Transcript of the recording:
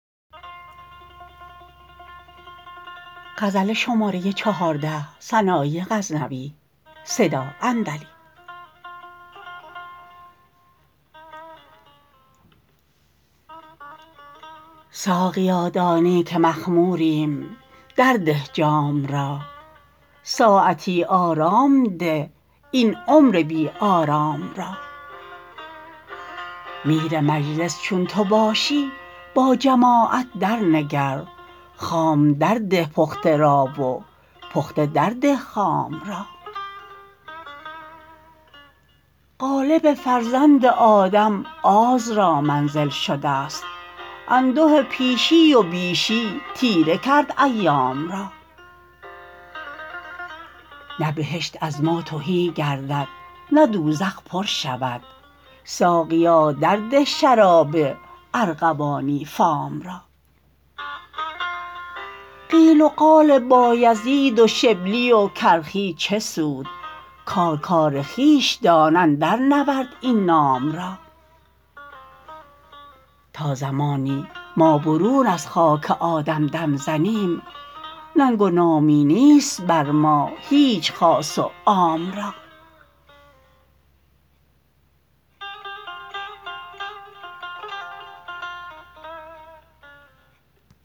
ساقیا دانی که مخموریم در ده جام را ساعتی آرام ده این عمر بی آرام را میر مجلس چون تو باشی با جماعت در نگر خام در ده پخته را و پخته در ده خام را قالب فرزند آدم آز را منزل شدست انده پیشی و بیشی تیره کرد ایام را نه بهشت از ما تهی گردد نه دوزخ پر شود ساقیا در ده شراب ارغوانی فام را قیل و قال بایزید و شبلی و کرخی چه سود کار کار خویش دان اندر نورد این نام را تا زمانی ما برون از خاک آدم دم زنیم ننگ و نامی نیست بر ما هیچ خاص و عام را